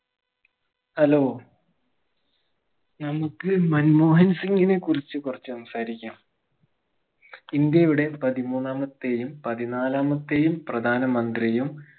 hello നമുക്ക് മൻമോഹൻ സിംഗിനെ കുറിച്ച് കൊറച്ചു സംസാരിക്കാം ഇന്ത്യയുടെ പതിമൂന്നാമത്തെയും പതിനാലാമത്തേയും പ്രധാന മന്ത്രിയും